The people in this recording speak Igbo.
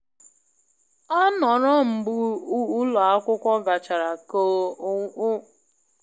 Ọ nọrọ mgbe ụlọ akwụkwọ gachara ka onwe ike iji kwado onye ọgbọ nke na eme nkwado maka ngosi siri ike.